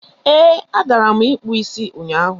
Ee, agara m ịkpụ isi ụnyaahụ.